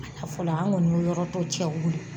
A la fɔlɔ. An kɔni be yɔrɔ tɔ cɛ wuli.